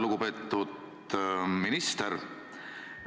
Lugupeetud minister!